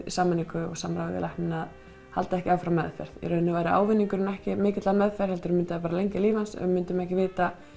sameiningu og samráði við læknana að halda ekki áfram meðferð í rauninni þá væri ávinningurinn ekki mikill af meðferð heldur myndi hann bara lengja lífið hans en við myndum ekki vita